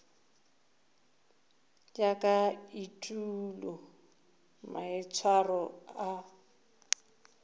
ya ka etulo maitshwaro a